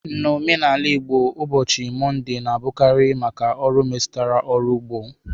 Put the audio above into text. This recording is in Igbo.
N'omenala Igbo, ụbọchị Mọnde na-abụkarị maka ọrụ metụtara ọrụ ugbo.